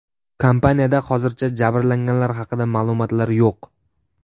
Kompaniyada hozircha jabrlanganlar haqida ma’lumotlar yo‘q.